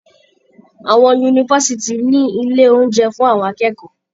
Àwọn yunifásitì ní ilé oúnjẹ fún àwọn akẹ́kọ̀ọ́.